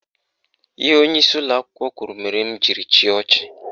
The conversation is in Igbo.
Ihe onyeisi ụlọakwụkwọ kwuru mere m jiri chịa ọchị.